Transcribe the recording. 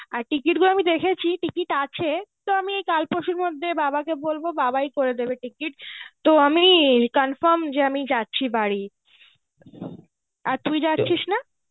আর ticket গুলো আমি দেখেছি ticket আছে, তো আমি এই কাল পরশুর মধ্যে বাবাকে বলবো বাবাই করে দেবে ticket তো আমি confirm যে আমি যাচ্ছি বাড়ি. আর তু যাচ্ছিস না?